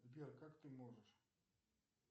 сбер как ты можешь